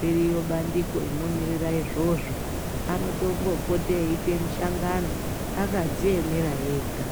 riryo bandiko rinomirira izvozvo anotombopota eite mishangano akadziemera ega.